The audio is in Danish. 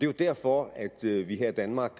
jo derfor at vi her i danmark